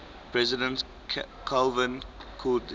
president calvin coolidge